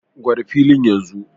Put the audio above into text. Gwada filin yanzu!